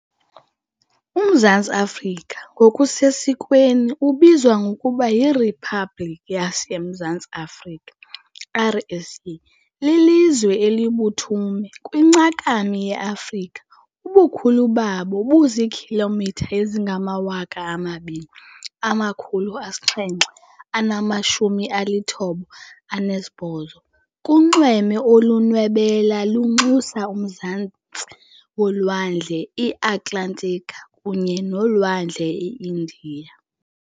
UMzantsi Afrika, ngokusesikweni ubizwa ngokuba yirhiphabhlikhi yaseMzantsi Afrika, RSA, lilizwe elibuthume kwincakami yeAfrika. Ubukhulu bawo buziikhilomitha ezingama-2,798 kunxweme olunwebela lunxusa umzantsi wolwandle iAtlantika kunye nolwandle iIndiya.